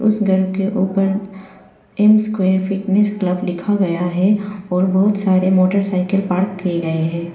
उस घर के ऊपर एम स्क्वेयर फिटनेस क्लब लिखा गया है और बहुत सारे मोटरसाइकिल पार्क किए गए हैं।